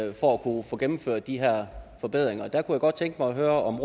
kunne få gennemført de her forbedringer derfor godt tænke mig at høre om